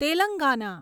Telangana